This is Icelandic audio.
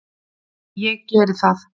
Ég geri það!